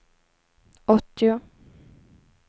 åttio